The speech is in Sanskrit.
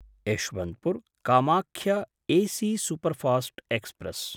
Yesvantpur Kamakhya AC superfast express